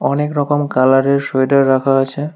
অনেক রকম কালারের সোয়েটার রাখা আছে।